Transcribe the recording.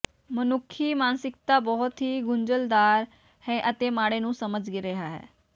ਮਨੁੱਖੀ ਮਾਨਸਿਕਤਾ ਬਹੁਤ ਹੀ ਗੁੰਝਲਦਾਰ ਹੈ ਅਤੇ ਮਾੜੇ ਨੂੰ ਸਮਝ ਰਿਹਾ ਹੈ